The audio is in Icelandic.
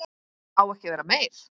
Á ekki að vera meir.